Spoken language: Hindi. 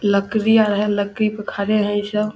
लकड़ीया है लकड़ी पर खड़े हैं ये सब।